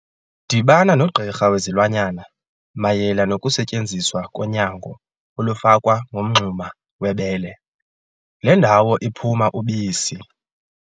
Dibana nogqirha wezilwanyana mayela nokusetyenziswa konyango olufakwa ngomngxuma webele, le ndawo iphuma ubisi.